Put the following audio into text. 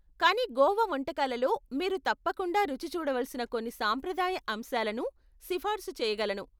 కానీ గోవా వంటకాలలో మీరు తప్పకుండ రుచి చూడవలసిన కొన్ని సాంప్రదాయ అంశాలను సిఫార్సు చేయగలను.